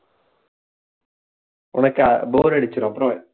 உனக்கு bore அடிச்சிரும் அப்புறம்